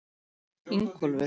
Ingólfur